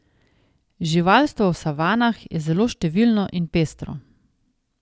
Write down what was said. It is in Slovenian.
Živalstvo v savanah je zelo številno in pestro.